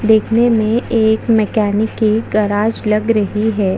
देखने में एक मैकेनिक की गराज लग रही हैं।